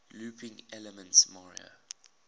looping elements mario